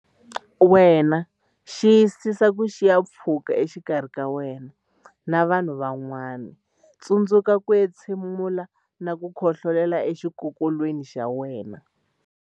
Wena Xiyisisa ku siya pfhuka exikarhi ka wena na vanhu van'wana Tsundzuka ku entshe mula na ku khohlolela exikokolweni xa wena.